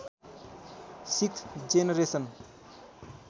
sixth generation